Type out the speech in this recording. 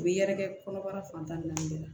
U bɛ yɛrɛkɛ kɔnɔbara fan tan ni naani de la